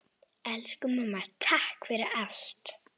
Elsku mamma, takk fyrir allt!